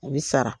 A bɛ sara